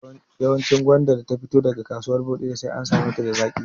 Yawancin gwanda da ta fito daga kasuwar Bodija sai an same ta da zaƙi